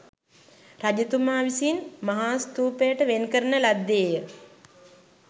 රජතුමා විසින් මහාස්ථූපයට වෙන්කරන ලද්දේ ය